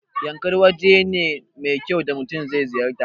Yankari waje ne mai kyau da mutun zai ziyarta